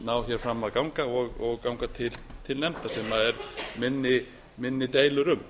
ná fram að ganga og ganga til nefndar sem eru minni deilur um